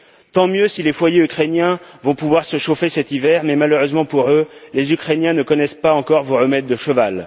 Tant mieux si les foyers ukrainiens vont pouvoir se chauffer cet hiver mais, malheureusement pour eux, les Ukrainiens ne connaissent pas encore vos remèdes de cheval.